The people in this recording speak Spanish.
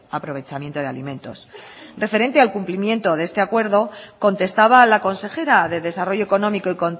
aprovechamiento de alimentos referente al cumplimiento de este acuerdo contestaba la consejera de desarrollo económico y